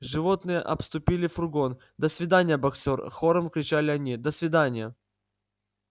животные обступили фургон до свидания боксёр хором кричали они до свиданья